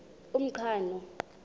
umqhano